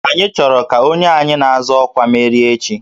Anyị chọrọ ka onye anyị na-azọ ọkwa merie echi